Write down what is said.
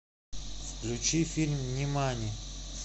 включи фильм нимани